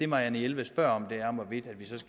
marianne jelved spørger om